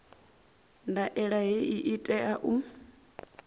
ndaela hei i tea u